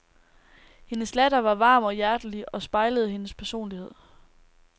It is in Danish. Hendes latter var varm og hjertelig og spejlede hendes personlighed.